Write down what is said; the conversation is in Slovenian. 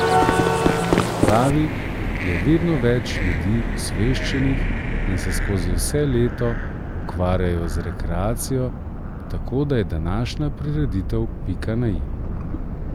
Kot pravi, je vedno več ljudi osveščenih in se skozi vse leto ukvarjajo z rekreacijo, tako da je današnja prireditev pika na i.